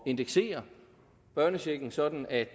indeksere børnechecken sådan at